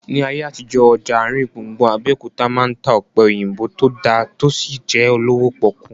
Ní ayé àtijọ́, ọjà àrin gbùngbùn Abẹ́òkúta máa ń ta ọ̀pẹ̀ òyìnbó tó dá tí ó sì jẹ́ olówó pọ́kú